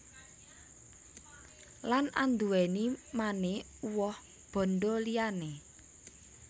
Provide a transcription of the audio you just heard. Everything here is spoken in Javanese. Lan anduwèni mane uwoh bandha liyane